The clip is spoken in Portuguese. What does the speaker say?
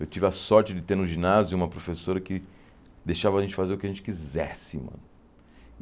Eu tive a sorte de ter no ginásio uma professora que deixava a gente fazer o que a gente quisesse, mano.